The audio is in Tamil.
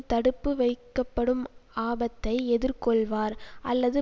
தடுப்புவைக்கப்படும் ஆபத்தை எதிர்கொள்வார் அல்லது